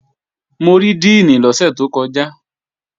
Mo rí díìnì lọ́sẹ̀ tó kọjá